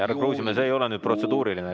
Härra Kruusimäe, see ei ole nüüd protseduuriline.